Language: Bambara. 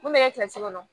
Mun bɛ kɛ kɔnɔ